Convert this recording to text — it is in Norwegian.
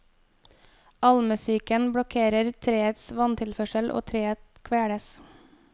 Almesyken blokkerer treets vanntilførsel og treet kveles.